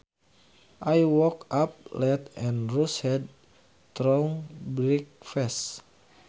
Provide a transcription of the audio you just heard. I woke up late and rushed through breakfast